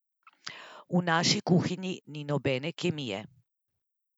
V naši kuhinji ni nobene kemije!